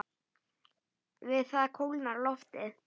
Við það kólnar loftið.